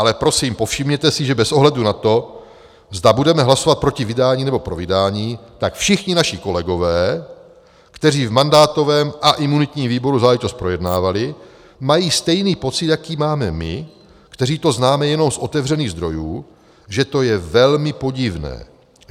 Ale prosím povšimněte si, že bez ohledu na to, zda budeme hlasovat proti vydání, nebo pro vydání, tak všichni naši kolegové, kteří v mandátovém a imunitním výboru záležitost projednávali, mají stejný pocit, jaký máme my, kteří to známe jenom z otevřených zdrojů, že to je velmi podivné.